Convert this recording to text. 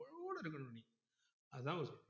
அதான் வரும்